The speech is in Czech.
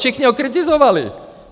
Všichni ho kritizovali.